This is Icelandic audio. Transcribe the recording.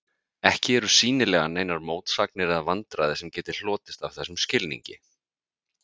Ekki eru sýnilega neinar mótsagnir eða vandræði sem geti hlotist af þessum skilningi.